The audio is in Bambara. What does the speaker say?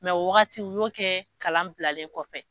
o waagati u y'o kɛ kalan bilalen kɔfɛ.